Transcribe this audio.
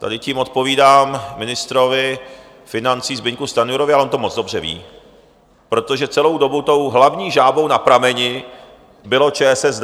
Tady tím odpovídám ministrovi financí Zbyňku Stanjurovi, ale on to moc dobře ví, protože celou dobu tou hlavní žábou na prameni bylo ČSSD.